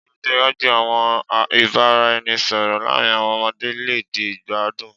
Ni ojo iwaju, awọn ibaraẹnisọrọ laarin awọn ọmọde le di igbadun